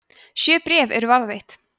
sjö bréf eru varðveitt